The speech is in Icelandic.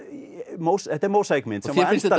þetta er mósaíkmynd og þér finnst þetta